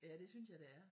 Ja det synes jeg det er